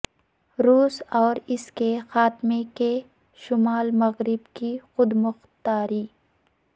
روس اور اس کے خاتمے کے شمال مغرب کی خود مختاری